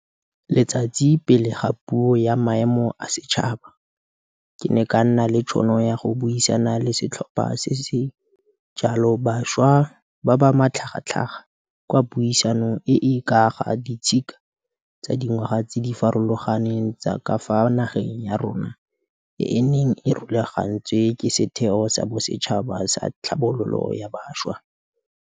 Letsatsi pele ga Puo ya Maemo a Setšhaba, SoNA, ke ne ka nna le tšhono ya go buisana le setlhopha se se jalo sa bašwa ba ba matlhagatlhaga kwa puisanong e e ka ga ditshika tsa dingwaga tse di farologaneng tsa ka fa nageng ya rona e e neng e rulagantswe ke Setheo sa Bosetšhaba sa Tlhabololo ya Bašwa, NYDA.